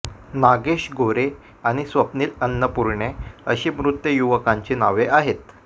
नागेश गोरे आणि स्वप्नील अन्नपूर्णे अशी मृत युवकांची नवे आहेत